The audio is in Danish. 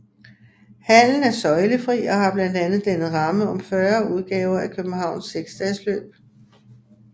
Hallen er søjlefri og har blandt andet dannet ramme om 40 udgaver af Københavns seksdagesløb